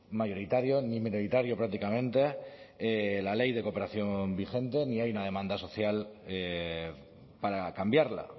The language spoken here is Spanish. mayoritario ni minoritario prácticamente la ley de cooperación vigente ni hay una demanda social para cambiarla